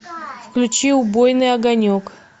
включи убойный огонек